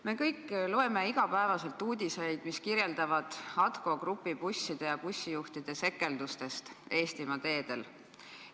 Me kõik loeme iga päev uudiseid, mis kirjeldavad ATKO Grupi busside ja bussijuhtide sekeldusi Eestimaa teedel.